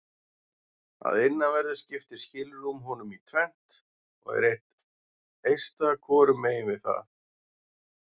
Að innanverðu skiptir skilrúm honum í tvennt og er eitt eista hvorum megin við það.